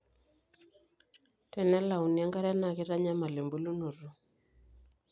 tenelauni enkare naa keitanyamal ebulunoto